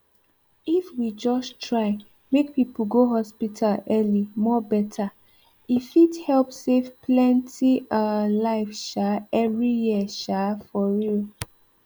if we just try make people go hospital early more better e fit help save plenty um life um every year um for real